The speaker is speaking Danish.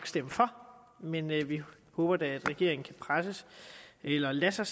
stemme for men vi håber da at regeringen kan presses eller lade sig